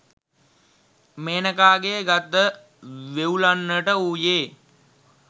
මේනකාගේ ගත වෙව්ලන්නට වූයේ